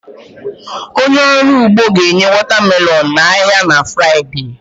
Onye ọrụ ugbo ga-enye watermelon n'ahịa na Fraịdee a